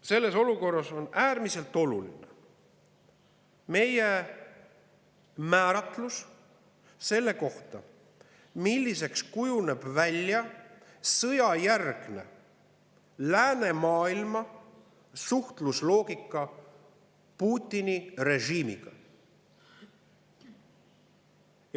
Selles olukorras on äärmiselt oluline meie määratlus selle kohta, milliseks kujuneb sõjajärgne läänemaailma suhtlusloogika Putini režiimiga.